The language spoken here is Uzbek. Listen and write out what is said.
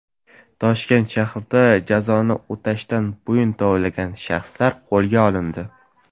Toshkent shahrida jazoni o‘tashdan bo‘yin tovlagan shaxslar qo‘lga olindi.